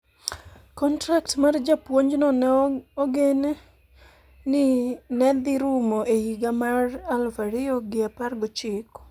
Kontrak mar japuonjno ne ogeni ni ne dhi rumo e higa mar aluf ariyo gi apar gochiko.